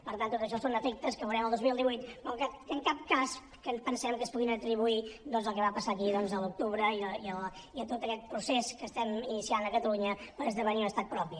per tant tot això són efectes que veurem el dos mil divuit però en cap cas pensem que es puguin atribuir al que va passar aquí a l’octubre i a tot aquest procés que estem iniciant a catalunya per esdevenir un estat propi